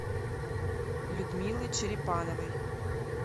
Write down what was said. людмилы черепановой